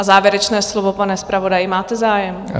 A závěrečné slovo, pane zpravodaji, máte zájem?